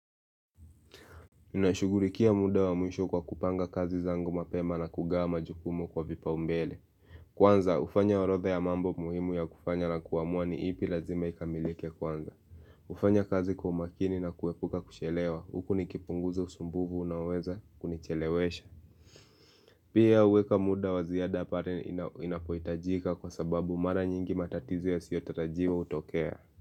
Ninashughulikia muda wa mwisho kwa kupanga kazi zangu mapema na kugawa majukumu kwa vipa umbele Kwanza hufanya orodha ya mambo muhimu ya kufanya na kuamua ni ipi lazima ikamilike kwanza hufanya kazi kwa umakini na kuepuka kuchelewa huku nikipunguza usumbufu unaoweza kunichelewesha Pia huweka muda waziada pale inapohitajika kwa sababu mara nyingi matatizo ya siyotarajiwa hutokea.